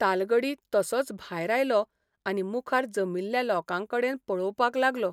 तालगडी तसोंच भायर आयलों आनी मुखार जमिल्ल्या लोकांकडेन पळोवपाक लागलों.